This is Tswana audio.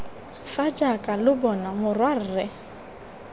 fa jaaka lo bona morwarre